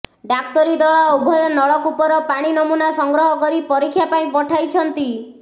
ଡାକ୍ତରୀ ଦଳ ଉଭୟ ନଳକୂପର ପାଣି ନମୁନା ସଂଗ୍ରହ କରି ପରୀକ୍ଷା ପାଇଁ ପଠାଇଛନ୍ତି